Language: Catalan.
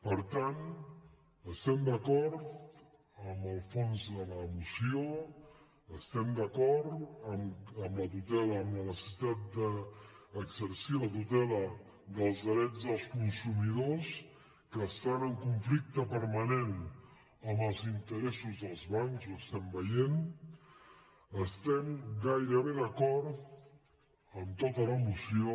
per tant estem d’acord amb el fons de la moció es·tem d’acord amb la tutela amb la necessitat d’exer·cir la tutela dels drets dels consumidors que estan en conflicte permanent amb els interessos dels bancs ho estem veient estem gairebé d’acord amb tota la moció